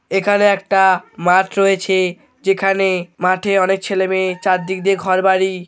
এখানে একটাআ মাঠ রয়েছেএ যেখানেএ মাঠে অনেক ছেলে মেয়ে চারদিক দিয়ে ঘরবাড়ি ।